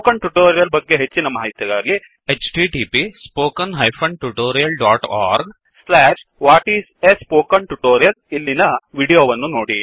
spoken tutorial ಬಗ್ಗೆ ಹೆಚ್ಚಿನ ಮಾಹಿತಿಗಾಗಿ 1ಇಲ್ಲಿನ ವೀಡಿಯೋ ವನ್ನು ನೋಡಿ